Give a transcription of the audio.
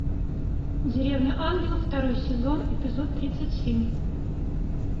деревня ангелов второй сезон эпизод тридцать семь